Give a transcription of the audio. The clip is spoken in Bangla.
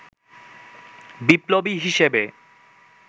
বিপ্লবী হিসেবে